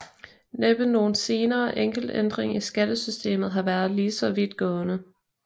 Næppe nogen senere enkelt ændring i skattesystemet har været lige så vidtgående